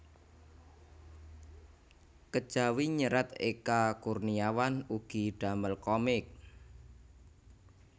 Kejawi nyerat Eka Kurniawan ugi damel komik